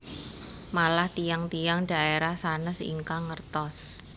Malah tiyang tiyang dhaerah sanes ingkang ngertos